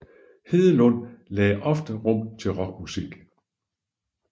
Hedelund lagde ofte rum til rockmusik